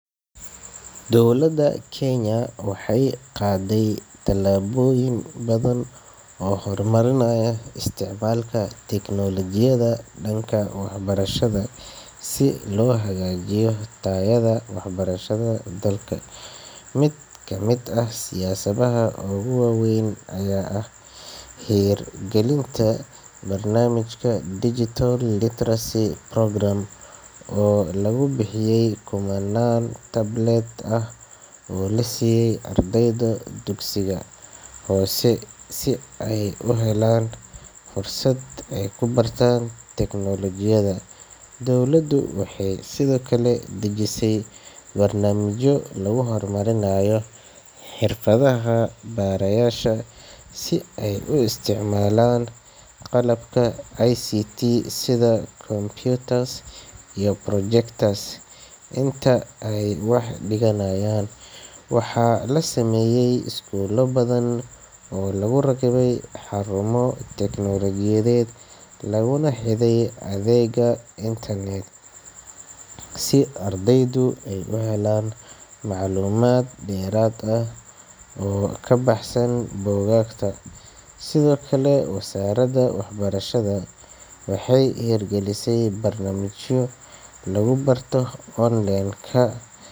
Dowladda Kenya waxay qaaday tallaabooyin badan oo lagu horumarinayo isticmaalka teknoolojiyadda gudaha waaxda waxbarashada, si loo hagaajiyo tayada waxbarashada ee dalka. Mid ka mid ah siyaasadaha ugu waaweyn waa hirgelinta barnaamijka Digital Literacy Programme, kaas oo lagu bixiyey kumannaan tablet ah oo la siiyey ardayda dugsiyada hoose si ay u helaan fursad ay ku bartaan teknoolojiyadda. Dowladdu waxay sidoo kale dejisay barnaamijyo lagu horumarinayo xirfadaha macallimiinta, si ay ugu fududaato isticmaalka qalabka sida ICT, kombiyuutarada iyo projectors inta ay wax dhigayaan. Waxaa la samayey iskuullo badan oo lagu rakibay xarumo tiknoolajiyeed oo lagu xirribay adeegga internet-ka, si ardaydu u helaan macluumaad dheeraad ah oo ka baxsan buugaagta. Sidoo kale, Wasaaradda Waxbarashada waxay hirgelisay barnaamijyo waxbarasho onlineka.